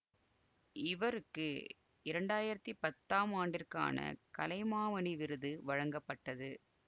இவருக்கு இரண்டாயிரத்தி பத்தாம் ஆண்டிற்கான கலைமாமணி விருது வழங்கப்பட்டது